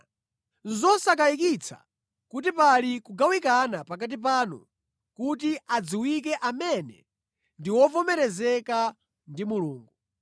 Nʼzosakayikitsa kuti pali kugawikana pakati panu kuti adziwike amene ndi ovomerezeka ndi Mulungu.